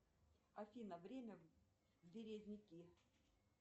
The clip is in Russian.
афина время березники